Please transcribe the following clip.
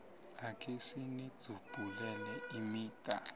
akhe sinidzubhulele imida